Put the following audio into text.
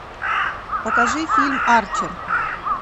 покажи фильм арчер